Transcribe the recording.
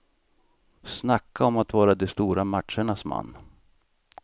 Snacka om att vara de stora matchernas man.